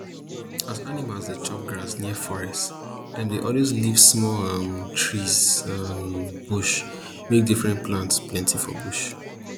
as animals dey chop grass near forest dem dey always leave small um trees um and bush make different plants plenty for bush